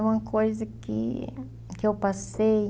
É uma coisa que que eu passei.